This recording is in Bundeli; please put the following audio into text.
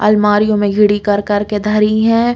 अलमारियों में घिड़ि कर-कर के धरी हैं।